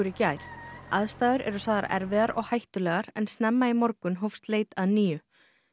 í gær aðstæður er sagðar erfiðar og hættulegar en snemma í morgun hófst leit að nýju